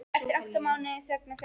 Eftir átta mánaða þögn og fjarveru.